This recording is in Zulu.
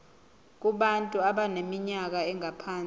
kubantu abaneminyaka engaphansi